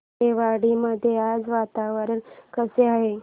आरेवाडी मध्ये आज वातावरण कसे आहे